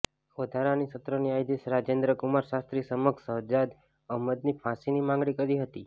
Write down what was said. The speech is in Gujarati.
વધારાની સત્ર ન્યાયાધીશ રાજેન્દ્ર કુમાર શાસ્ત્રી સમક્ષ શહજાદ અમહદની ફાંસીની માંગણી કરી હતી